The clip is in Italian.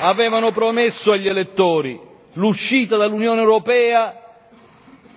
avevano promesso agli elettori l'uscita dall'Unione europea,